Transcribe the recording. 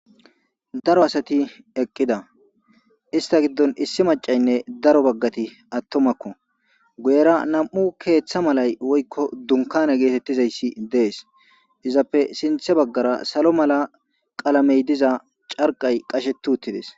daro asati eqqida ista giddon issi macaynne daro baggati attomakko guyera nam7u keeththa malay woykko dunkana geetettizayssi dees izappe sinthe baggara salo mala qalamey diza carqay qashetu uttides